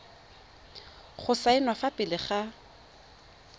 go saenwa fa pele ga